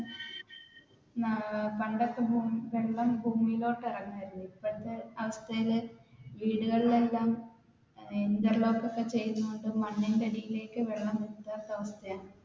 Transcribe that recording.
ഏർ പണ്ടൊക്കെ വെള്ളം ഭൂമിയിലോട്ട് ഇറങ്ങുമായിരുന്നു ഇപ്പഴത്തെ അവസ്ഥയിൽ വീടുകളിൽ എല്ലാം interlock ഒക്കെ ചെയുന്ന കൊണ്ട് മണ്ണിന്റെ അടിയിലേക്ക് വെള്ളം